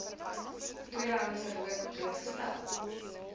tweedehandse rook blootgestel